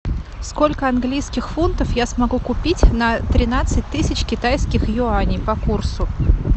сколько английских фунтов я смогу купить на тринадцать тысяч китайских юаней по курсу